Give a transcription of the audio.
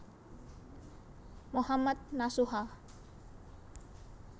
Mohammad Nasuha